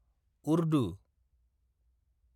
Urdu